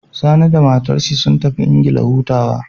Sani da matar shi sun tafi England hutawa